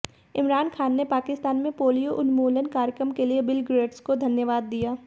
इमरान खान ने पाकिस्तान में पोलियो उन्मूलन कार्यक्रम के लिए बिल गेट्स को धन्यवाद दिया